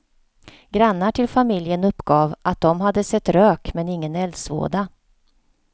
Grannar till familjen uppgav att de hade sett rök men ingen eldsvåda.